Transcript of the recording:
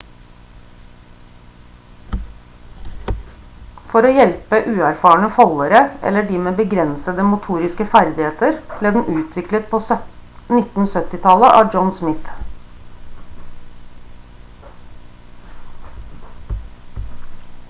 for å hjelpe uerfarne foldere eller de med begrensede motoriske ferdigheter ble den utviklet på 1970-tallet av john smith